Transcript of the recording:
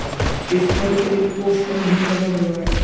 इस पर एक पोस्टर भी लगा हुआ है।